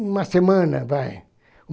Uma semana vai.